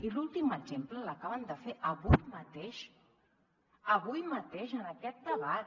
i l’últim exemple l’acaben de fer avui mateix avui mateix en aquest debat